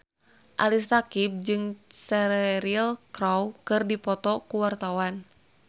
Ali Syakieb jeung Cheryl Crow keur dipoto ku wartawan